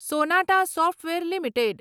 Sonata software limited